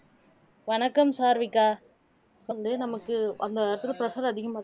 வணக்கம் சாருவிகா வந்து நமக்கு அந்த இடத்துக்கு pressure அதிகமாச்சுன்னா